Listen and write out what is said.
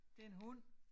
Det en hund